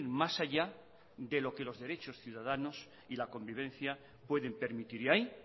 más allá de lo que los derechos ciudadanos y la convivencia pueden permitir y ahí